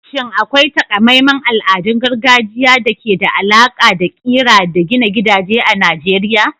Shin akwai taƙamaiman al'adun gargajiya da ke da alaƙa da ƙira da gina gidaje a Najeriya?